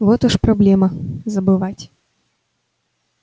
вот уж проблема забывать